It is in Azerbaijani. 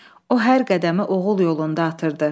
O hər qədəmi oğul yolunda atırdı.